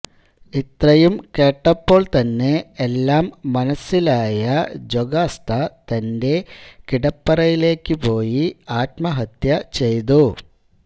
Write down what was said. ഇത്രയും കേട്ടപ്പോൾതന്നെ എല്ലാം മനസ്സിലായ ജൊകാസ്ത തന്റെ കിടപ്പറയിലേക്കു പോയി ആത്മഹത്യ ചെയ്തു